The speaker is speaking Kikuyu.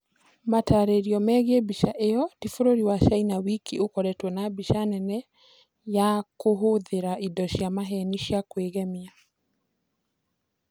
Matarĩrio megiĩ mbica ĩyo ti bũrũri wa China wiki ũkoretwo na biacara nene ya kũhũthĩra indo cia maheeni cia kwĩgemia.